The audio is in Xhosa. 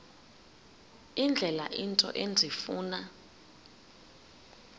indlela into endifuna